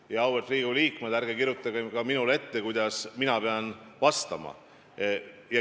Ja auväärt Riigikogu liikmed, ärge kirjutage ka minule ette, kuidas mina pean vastama.